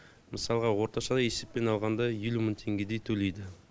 мысалыға орташа есеппен алғанда елу мың теңгедей төлейді